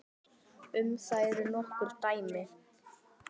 Um það eru nokkur dæmi.